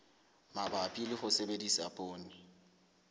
mabapi le ho sebedisa poone